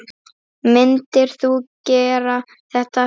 Myndir þú gera þetta aftur?